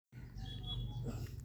Dadka eedebta xun way badaanyihin.